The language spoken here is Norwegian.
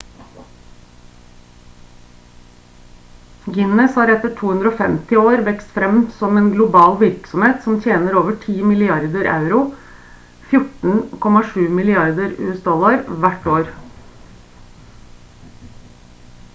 guinness har etter 250 år vokst frem som en global virksomhet som tjener over 10 milliarder euro 14,7 milliarder usd hvert år